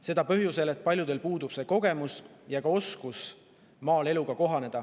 Seda põhjusel, et paljudel puudub kogemus ja oskus maaeluga kohaneda.